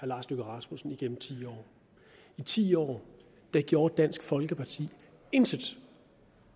lars løkke rasmussen igennem ti år i ti år gjorde dansk folkeparti intet